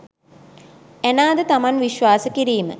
Anna ද තමන් විශ්වාස කිරීම